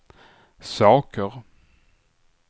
saker